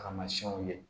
Tamasiyɛnw ye